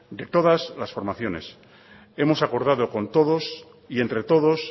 de todas las formaciones hemos acordado con todos y entre todos